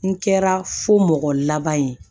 N kɛra fo mɔgɔ laban ye